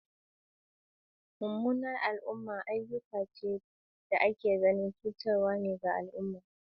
Mummunan al'umma ayyuka ne da ake ganin cutarwa ga mutane ko al'umma.